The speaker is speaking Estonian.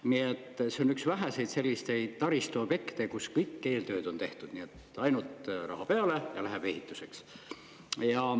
Nii et see on üks väheseid selliseid taristuobjekte, kus kõik eeltööd on tehtud, ainult raha peale ja läheb ehituseks.